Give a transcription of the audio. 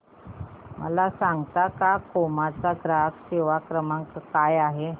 मला सांगता का क्रोमा चा ग्राहक सेवा क्रमांक काय आहे